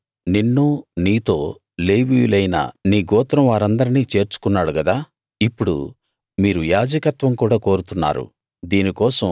ఆయన నిన్నూ నీతో లేవీయులైన నీ గోత్రం వారిందర్నీ చేర్చుకున్నాడు గదా ఇప్పుడు మీరు యాజకత్వం కూడా కోరుతున్నారు